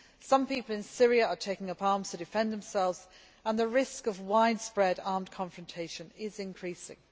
Some people in Syria are taking up arms to defend themselves and the risk of widespread armed confrontation is increasing.